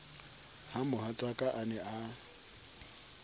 ha mohatsaka a ne a